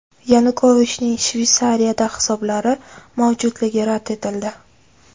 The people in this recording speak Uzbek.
Yanukovichning Shveysariyada hisoblari mavjudligi rad etildi.